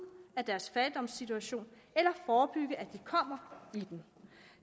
af deres fattigdomssituation eller forebygge at de kommer i den